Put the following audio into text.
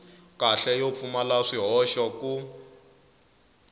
kahle yo pfumala swihoxo ku